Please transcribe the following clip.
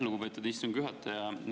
Lugupeetud istungi juhataja!